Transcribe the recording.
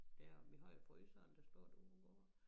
Dér vi har jo fryseren der står derude hvor